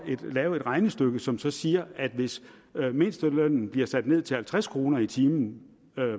lave et regnestykke som som siger at hvis mindstelønnen bliver sat ned til halvtreds kroner i timen